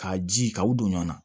K'a ji k'aw don ɲɔ na